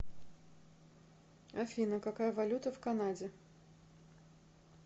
афина какая валюта в канаде